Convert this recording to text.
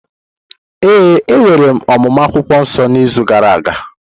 Ee, e nwere ọmụmụ akwukwuo nso n’izu gara aga.